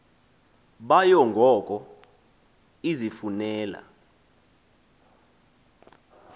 bayo ngoko izifunela